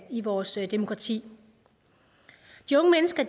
i vores demokrati de unge mennesker